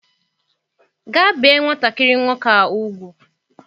Gaa bee nwatakịrị nwoke a ugwu!